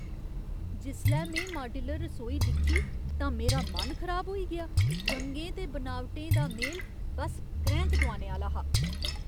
जिसलै में माड्यूलर रसोई दिक्खी तां मेरा मन खराब होई गेआ। रंगें ते बनावटें दा मेल बस क्रैंह्क दोआने आह्‌ला हा।